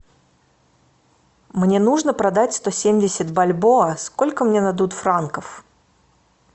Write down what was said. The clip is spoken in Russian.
мне нужно продать сто семьдесят бальбоа сколько мне дадут франков